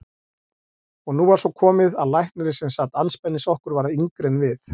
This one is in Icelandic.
Og nú var svo komið að læknirinn sem sat andspænis okkur var yngri en við.